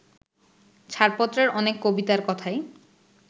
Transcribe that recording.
ছাড়পত্রর অনেক কবিতার কথাই